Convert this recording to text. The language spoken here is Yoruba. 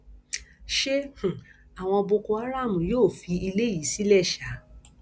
ṣé um àwọn boko haram yóò fi ilé yìí sílẹ ṣáá